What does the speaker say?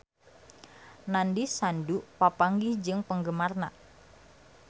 Nandish Sandhu papanggih jeung penggemarna